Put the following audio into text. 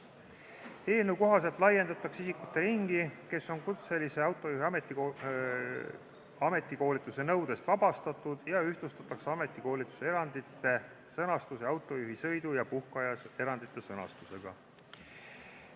Eelnõu kohaselt laiendatakse isikute ringi, kes on kutselise autojuhi ametikoolituse nõudest vabastatud, ja ühtlustatakse ametikoolituse erandite sõnastust autojuhi sõidu- ja puhkeaja erandite sõnastusega.